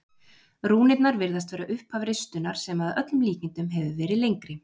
rúnirnar virðast vera upphaf ristunnar sem að öllum líkindum hefur verið lengri